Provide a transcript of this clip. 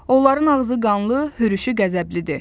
Onların ağzı qanlı, hürüşü qəzəblidir.